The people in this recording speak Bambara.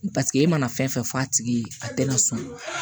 Paseke e mana fɛn fɛn fɔ a tigi ye a tɛna sɔn